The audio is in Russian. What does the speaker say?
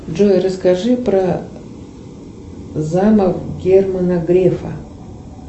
джой расскажи про замок германа грефа